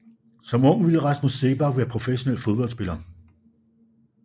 Som ung ville Rasmus Seebach være professionel fodboldspiller